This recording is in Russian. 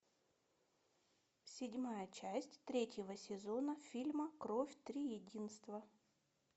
седьмая часть третьего сезона фильма кровь триединства